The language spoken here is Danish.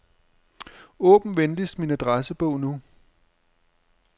Åbn venligst min adressebog nu.